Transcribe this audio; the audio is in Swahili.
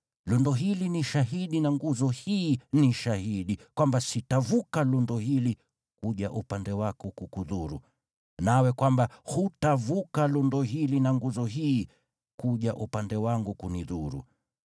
Lundo hili ni shahidi na nguzo hii ni shahidi, kwamba sitavuka lundo hili kuja upande wako kukudhuru, nawe kwamba hutavuka lundo hili na nguzo hii kuja upande wangu kunidhuru.